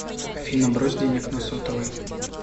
афина брось денег на сотовый